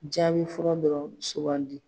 Jaabi fura dɔ sugandi